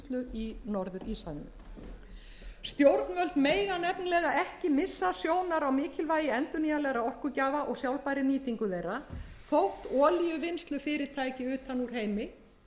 í norður íshafinu stjórnvöld mega nefnilega ekki missa sjónar á mikilvægi endurnýjanlegra orkugjafa og sjálfbærri nýtingu þeirra þótt olíuvinnslufyrirtæki utan úr heimi hugsanlega bara frá rússlandi og